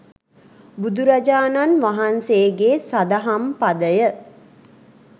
බුදුරජාණන් වහන්සේගේ සදහම් පදය